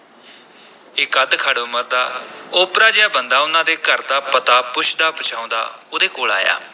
ਇਕ ਅੱਧਖੜ ਉਮਰ ਦਾ ਓਪਰਾ ਜਿਹਾ ਬੰਦਾ ਉਨ੍ਹਾਂ ਦੇ ਘਰ ਦਾ ਪਤਾ ਪੁੱਛਦਾ-ਪੁਛਾਉਂਦਾ ਉਹਦੇ ਕੋਲ ਆਇਆ।